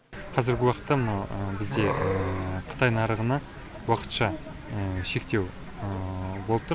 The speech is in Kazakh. қазіргі уақытта мынау бізде қытай нарығына уақытша шектеу болып тұр